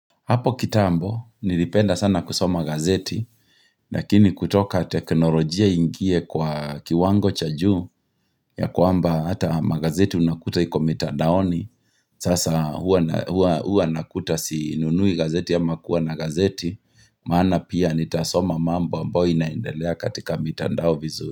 Hapo kitambo, nilipenda sana kusoma gazeti, lakini kutoka teknolojia iingie kwa kiwango cha juu, ya kwamba hata magazeti unakuta iko mitandaoni, sasa huwa nakuta sinunui gazeti ama kuwa na gazeti, maana pia nitasoma mambo ambayo inaendelea katika mitandao vizuri.